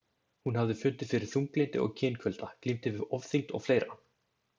Hún hafði fundið fyrir þunglyndi og kynkulda, glímdi við ofþyngd og fleira.